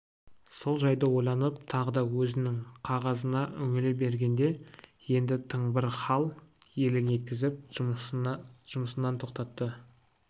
сол жайды ойланып тағы да өзінің қағазына үңіле бергенде енді тың бір хал елең еткізіп жұмысынан тоқтатты